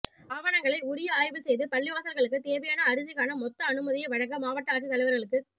ஆவணங்களை உரிய ஆய்வு செய்து பள்ளிவாசல்களுக்குத் தேவையான அரிசிக்கான மொத்த அனுமதியை வழங்க மாவட்ட ஆட்சித் தலைவர்களுக்குத்